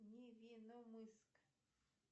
невинномысск